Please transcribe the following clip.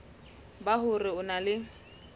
ba hore o na le